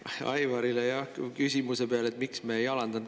Ma Aivarile küsimuse peale, miks me ei alandanud …